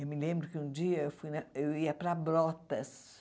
Eu me lembro que um dia eu fui na eu ia para Brotas.